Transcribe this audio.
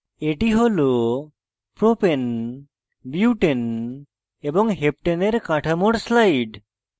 এটি হল propane propane butane butane এবং heptane heptane এর কাঠামোর slide